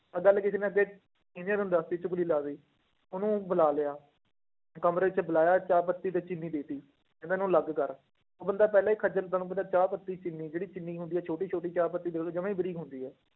ਆਹ ਗੱਲ ਕਿਸੇ ਨੇ ਅੱਗੇ ਨੂੰ ਦੱਸ ਦਿੱਤੀ ਚੁੱਗਲੀ ਲਾ ਦਿੱਤੀ, ਉਹਨੂੰ ਬੁਲਾ ਲਿਆ, ਤੇ ਕਮਰੇ 'ਚ ਬੁਲਾਇਆ ਚਾਹ ਪੱਤੀ ਤੇ ਚੀਨੀ ਦੇ ਦਿੱਤੀ, ਇਹਨਾਂ ਨੂੰ ਅਲੱਗ ਕਰ, ਉਹ ਬੰਦਾ ਪਹਿਲਾਂ ਹੀ ਖੱਝਲ ਤੁਹਾਨੂੰ ਪਤਾ ਚਾਹ ਪੱਤੀ ਚੀਨੀ ਜਿਹੜੀ ਚੀਨੀ ਹੁੰਦੀ ਆ, ਛੋਟੀ ਛੋਟੀ ਚਾਹ ਪੱਤੀ ਦੇਖ ਲਓ ਜਮਾ ਹੀ ਬਰੀਕ ਹੁੰਦੀ ਆ।